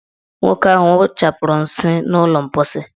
Nwoke ahụ wụchapụrụ nsị n' ụlọ mposi.